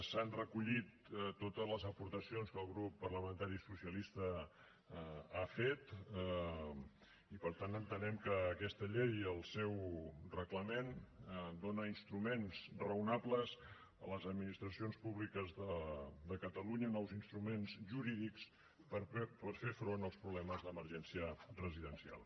s’han recollit totes les aportacions que el grup parlamentari socialista ha fet i per tant entenem que aquesta llei i el seu reglament dóna instruments raonables a les administracions públiques de catalunya nous instruments jurídics per fer front als problemes d’emergència residencial